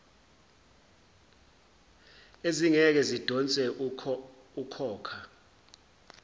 ezingeke zidonse ukhokha